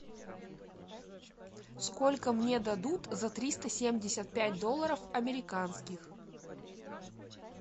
сколько мне дадут за триста семьдесят пять долларов американских